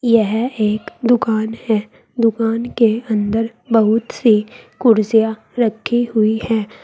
यह एक दुकान है दुकान के अंदर बहुत सी कुर्सियां रखी हुई हैं।